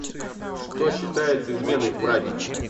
что считается изменой в браке